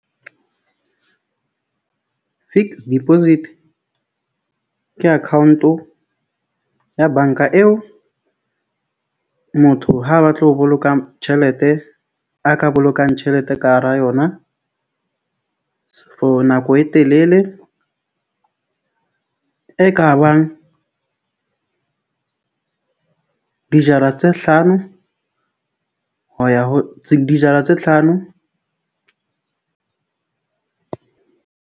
Fixed deposit ke account-o ya bank-a eo motho ha batla ho boloka tjhelete a ka bolokang tjhelete ka hara yona for nako e telele e kabang dijara tse hlano ho ya ho dijara tse hlano.